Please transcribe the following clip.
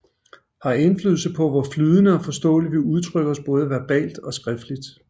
Har indflydelse på hvor flydende og forståeligt vi udtrykker os både verbalt og skriftligt